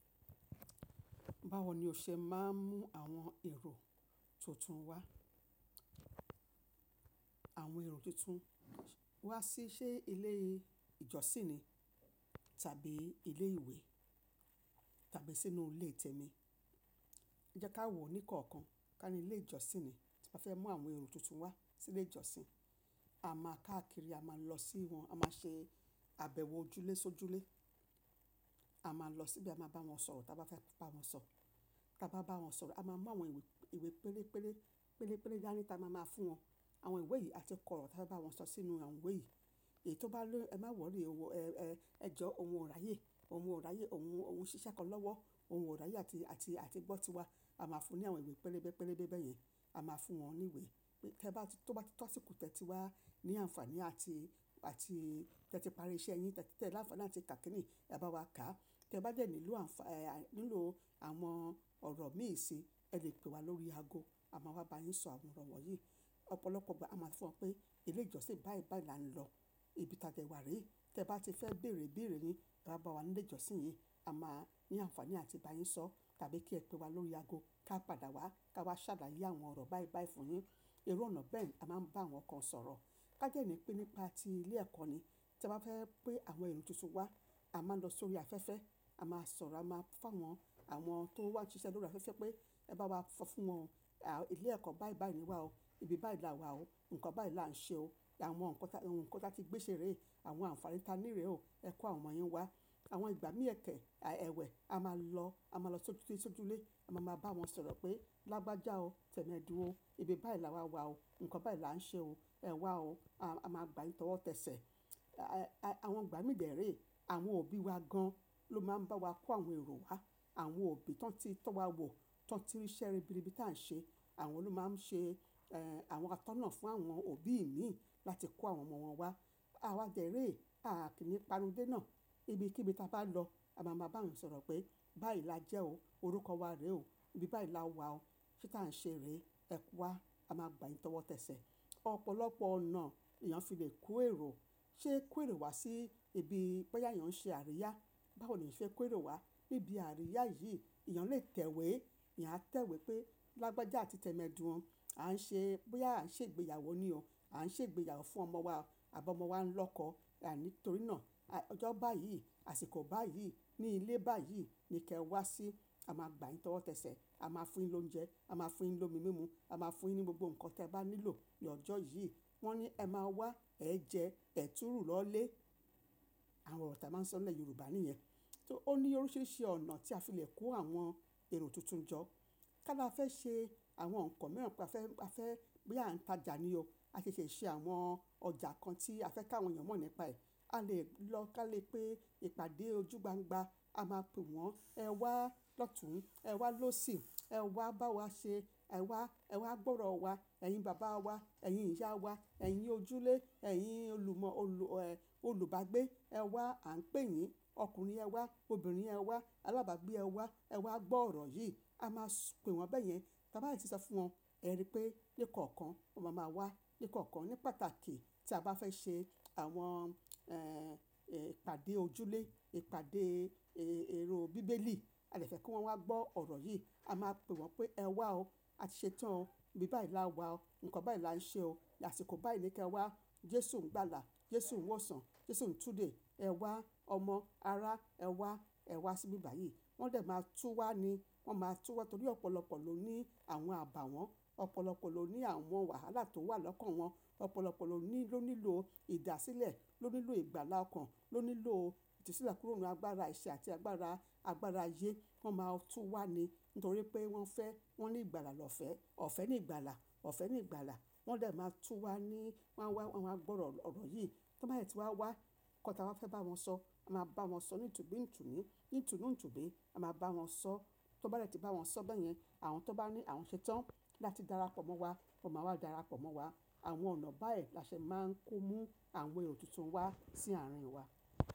Báwo ni o ṣe máa ń mú àwọn èrò tuntun wá, àwọn èrò tuntun wá sí ṣé ilé ìjọsìn ni tàbí ilé ìwé tàbí sínú ilé tẹmi. Jẹ́ ká wò ní kọ̀ọ̀kan. Ká ní ilé ìjọsìn ni, tí a bá fẹ́ mú àwọn èrò tuntun wá sí ilé ìjọsìn, a máa káàkiri, a máa lọ sí wọn, a máa ṣe àbẹ̀wò ojúlésójúlé. A máa lọ síbe, a máa bá wọn sọ̀rọ̀, tí a bá fẹ́ bá wọn sọ̀rọ̀, tí a bá bá wọn sọ̀rọ̀, a máa mú àwọn ìwé pérépéré, pérépéré dání tí a máa máa fún wọn. Àwọn ìwé yìí àti kóró tí a bá bá wọn sọ sínú àwọn ìwé yìí. Èyí tó bá ní ẹ má wòrry, ẹ jọ oun o ráyé, oun o rayé, oun, oun ṣíṣe kan lọ́wọ́, oun ọ̀ rayé àti, àti, àti gbó tiwa. A máa fún ní àwọn ìwé pérébépérébé bẹ́yẹn. A máa fún wọn ní ìwé pé, tí ó bá ti tó àsìkò, tẹ ti wá ní àǹfàní àti, àti tẹ ti parí iṣẹ́ yín, tẹ ti tẹ̀ láǹfàní àti kà kini, ẹ bá wa ká. Tẹ bá de nílò àǹfà-- nílò àwọn ọ̀rọ̀ mii sí i, ẹ lè pe wa lórí ago. A máa wá bá yín sọ àwọn ọ̀rọ̀ wọ̀nyí. Ọ̀pọ̀lọpọ̀ ìgbà a máa so fún wọn pé ilé ìjọsìn báì báì là ń lọ. Ibi tí a dẹ wa ri. Tẹ bá ti fẹ́ bèrè ibèèrè yin, e wa bá wa ni ilé ìjọsìn yín. A máa ní àǹfàní àti bá yín sọ. Tàbí kí ẹ pe wa lórí ago, ká padà wá, ká wá ṣàláyé àwọn ọ̀rọ̀ báì báì fún yín. Ìru ona bẹ́ẹ̀ ni a máa ń bá àwọn kan sọ̀rọ̀. Ká dẹ́ ní pé nípa ti ilé ẹ̀kọ́ ni. Tí a bá fẹ́ pé àwọn èrò tuntun wá, a máa ń lọ sórí afẹ́fẹ́. A máa sọ̀rọ̀, a máa fún awọn, àwọn tó ń wá ṣíṣe lórí afẹ́fẹ́ pé ẹ bá wá sọ fún wọn. Ilé ẹ̀kọ́ báì báì ni wà o. Ibi báì lá wa o. Ǹkan báì lá ń ṣe o. Àwọn nǹkan, ohun nǹkan táti gbé ṣe rèé, àwọn àǹfàní ta ni rè o. Ẹ kó àwọn ọmọ yín wá. Àwọn ìgbà mí ẹ̀kẹ̀ ẹwẹ̀, a máa lọ, a máa lọ sójúlé sójúlé. A máa máa bá wọn sọ̀rọ̀ pé, "Lágbájá o, tẹ́mọdún o. Ibi báì lá wa wa o. Ǹkan báì lá ń ṣe o. Ẹ wá o. A máa gba yín tọ́wọ́tẹ́sẹ̀." Àwọn ìgbà mí dẹẹre, àwọn òbí wa gan lọ máa ń bá wa kó àwọn èrò wá. Àwọn òbí tí wọ́n ti, tí wọ́n ti tọ́ wa wo, tí wọ́n ti rí ṣẹ́ ribiribi tí a ń ṣe. Àwọn lo máa ń ṣe, ẹ́, àwọn atọ́nà fún àwọn òbí mí láti kó àwọn ọmọ wọn wá. A wá dẹ́rè, a kì í panu dé náà. Ibi kíbi tí a bá lọ, a máa máa bá wọn sọ̀rọ̀ pé, "Báì lájẹ́ o. Orúkọ wa rè o. Ibi báì lá wa o. Kí tí a ń ṣe rèé, ẹ kú wá. A máa gba yín tọ́wọ́tẹ́sẹ̀." Ọ̀pọ̀lọpọ̀ ọ̀nà lèèyàn fi lè kó èrò. Sé kó èrò wá sí ibi bóyá èèyàn ń ṣe àríyá. Báwo ni ìṣe kó èrò wá níbi àríyá yìí? Ẹ̀yàn lè tẹ̀wé. Ẹ̀yàn á tẹ̀wé pé, "Lágbájá àti tẹ́mọdún, à ń ṣe, bóyá à ń ṣe ìgbéyàwó ni o. À ń ṣe ìgbéyàwó fún ọmọ wa. Abi ọmọ wa ń lọ́kọ. Nítorí náà, ọjọ́ báyìí, àsìkò báyìí, ní ilé báyìí ni kí ẹ wá sí. A máa gba yín tọ́wọ́tẹ́sẹ̀. A máa fún yin l'oúnjẹ. A máa fún un ní omi mímu. A máa fún un ní gbogbo nǹkan tí ẹ bá nílò ní ọjọ́ yìí." Wọ́n ní ẹ máa wá, ẹ jẹ, ẹ tùú ru lọlé. Àwọn ọ̀rọ̀ tí a máa ń sọ nílẹ̀ Yorùbá ni ìyẹn. So ó ní oríṣiríṣi ọ̀nà tí a fi lè kó àwọn èrò tuntun jọ. Ká la fẹ́ ṣe àwọn nǹkan mìíràn pé a fẹ́, a fẹ́ boya à ń tajà ni o. A ṣẹ̀ṣẹ̀ ṣe àwọn ọjà kan tí a fẹ́ kí àwọn èèyàn mọ̀ nípa ẹ̀. A lè lọ ká lè pé ìpàdé ojúgbàǹgbà. A máa pè wọ́n, "Ẹ wá lọ́tùn. Ẹ wá lósì. Ẹ wá bá wa ṣe. Ẹ wá, ẹ wá gbọ́ ọ̀rọ̀ wa. Ẹ̀yin baba wa. Ẹ̀yin ìyá wa. Ẹ̀yin ojúlẹ̀. Ẹ̀yin olùmọ́ olù, ẹ́, olùbágbé. Ẹ wá, à ń pè yín. Ọkùnrin ẹ wá. Obìnrin ẹ wá. Alábàágbé ẹ wá. Ẹ wá gbọ́ ọ̀rọ̀ yìí." A máa pè wọ́n bẹ́yẹn. Bá ba de tí sọ fún wọn, ẹ rí pé ní kọ̀ọ̀kan wọn máa máa wá. Ní kọ̀ọ̀kan, ní pàtàkì tí a bá fẹ́ ṣe àwọn, ẹ́, ìpàdé ojúlẹ̀, ìpàdé èrò bíbélì. E dẹ̀ fẹ́ kí wọ́n wá gbọ́ ọ̀rọ̀ yìí. A máa pè wọ́n pé, "Ẹ wá o. A ti ṣetán o. Ibi báì lá wa o. Ǹkan báì lá ń ṣe o. Ní àsìkò báyìí ni kí ẹ wá. Jésù ń gbàlà. Jésù ń wọ̀sàn. Jésù ń túdè. Ẹ wá ọmọ, ará, ẹ wá, ẹ wá sí ibi báyìí." Wọ́n dẹ̀ máa tú wá ni. Wọ́n máa tú wá torí ọ̀pọ̀lọpọ̀ ló ní àwọn àbàwọ́n. Ọ̀pọ̀lọpọ̀ ló ní àwọn wàhálà tó wà lọ́kàn wọn. Ọ̀pọ̀lọpọ̀ ló ní, ló nílò ìdásílẹ̀, ló nílò ìgbàlà ọkàn, ló nílò ìtusílẹ̀ kúrò ní agbára ẹ̀ṣẹ́ àti agbára, agbára ayé. Wọ́n máa tú wá ni. Nítorí pé wọ́n fẹ́, wọ́n ní ìgbàlà lọ́fẹ̀ẹ́. Ọ̀fẹ́ ní ìgbàlà. Ọ̀fẹ́ ní ìgbàlà. Wọ́n lè máa tú wá ni. Wọ́n wá, wọ́n wá gbọ́ ọ̀rọ̀ yìí. Tí wọ́n bá dẹ̀ ti wá wá, nǹkan tí a fẹ́ bá wọn sọ, a máa bá wọn sọ nítùbí ntùbí, nítùnú ntùbí. A máa bá wọn sọ. Tí wọ́n bá rẹ̀ ti bá wọn sọ bẹ́yẹn, àwọn tó bá ní àwọn ṣetán láti dára pọ̀ mọ́ wa, wọ́n máa wá dára pọ̀ mọ́ wa. Àwọn ọ̀nà báyìí la ṣe máa ń kó mú àwọn èrò tuntun wá sí àárín wa.